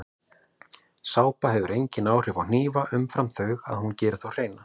Sápa hefur engin áhrif á hnífa umfram þau að hún gerir þá hreina.